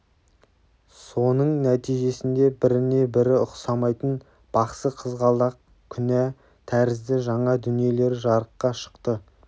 соның нәтижесінде біріне-бірі ұқсамайтын бақсы қызғалдақ күнә тәрізді жаңа дүниелер жарыққа шықты